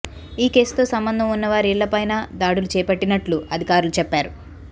ఈ కేసుతో సంబంధం ఉన్న వారి ఇళ్లపైనా దాడులు చేపట్టినట్లు అధికారులు చెప్పారు